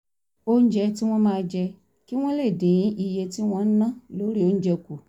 oúnjẹ tí wọ́n máa jẹ kí wọ́n lè dín iye tí wọ́n ń ná lórí oúnjẹ kù